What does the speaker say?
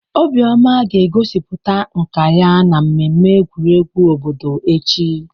Obioma ga-egosipụta nka ya na mmemme egwuregwu obodo echi.